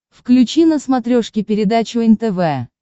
включи на смотрешке передачу нтв